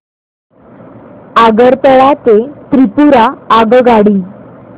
आगरतळा ते त्रिपुरा आगगाडी